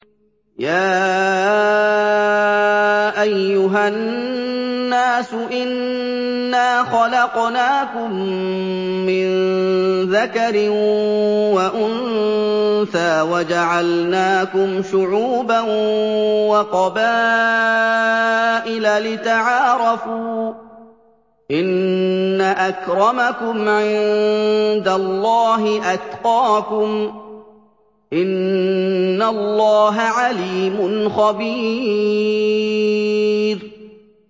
يَا أَيُّهَا النَّاسُ إِنَّا خَلَقْنَاكُم مِّن ذَكَرٍ وَأُنثَىٰ وَجَعَلْنَاكُمْ شُعُوبًا وَقَبَائِلَ لِتَعَارَفُوا ۚ إِنَّ أَكْرَمَكُمْ عِندَ اللَّهِ أَتْقَاكُمْ ۚ إِنَّ اللَّهَ عَلِيمٌ خَبِيرٌ